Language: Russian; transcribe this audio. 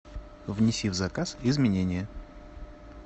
внеси в заказ изменения